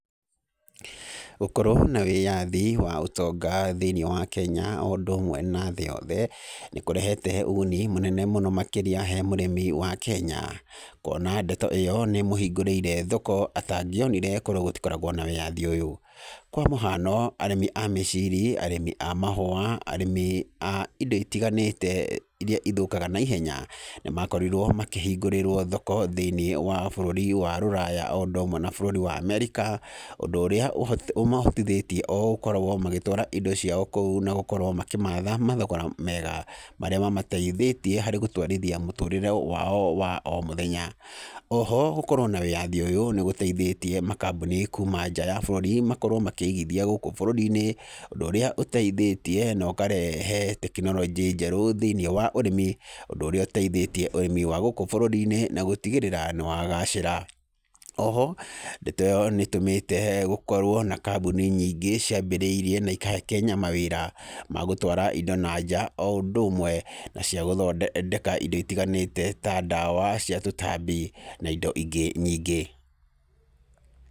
Gũkorwo na wĩyathi wa ũtonga thĩinĩ wa Kenya o ũndũ ũmwe nathĩ yothe, nĩ kũrehete ũguni mũnene mũno makĩrĩa he mũrĩmi wa kenya, kuona ndeto ĩyo nĩ mũhingũrĩire thoko atangĩonire korwo gũtikoragwo na wĩyathi ũyũ, kwa mũhano arĩmi a mĩciri, arĩmi amahũwa, arĩmi a ĩndo itiganĩte, iria ithũkaga naihenya, nĩ makorirwo makĩhingũrĩrwo thoko thĩinĩ wa bũrũri wa rũraya, o ũndũ ũmwe na bũrũri wa America, ũndũ ũrĩa ũho ũmahotithĩtie o gũkoragwo magĩtwara indo ciao kũu, na gũkorwo makĩmatha mathogora mega, marĩa mamateithĩtie harĩ gũtwarithia mũtũrĩre wao wa o mũthenya, oho gũkorwo na wĩyathĩ ũyũ, nĩ gũteithĩtie makambuni kuuma nja ya bũrũri makorwo makĩigithia gũkũ bũrũri-inĩ, ũndũ ũrĩa ũteithĩtie, na ũkarehe tekinoronjĩ njerũ thĩinĩ wa ũrĩmi, ũndũ ũrĩa ũteithĩtie ũrĩmi wa gũkũ bũrũri-inĩ, na gũtigĩrĩra nĩ wagacĩra, oho ndeto ĩyo nĩ tũmĩte gũkorwo na kambuni nyingĩ ciambĩrĩirie na ikahe Kenya mawĩra, magũtwara indo nanja, o ũndũ ũmwe, na ciagũthondeka indo itiganĩte, ta ndawa cia tũtambi na indo ingĩ nyingĩ.